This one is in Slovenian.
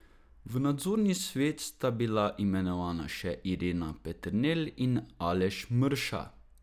V nadzorni svet sta bila imenovana še Irena Peternel in Aleš Mrša.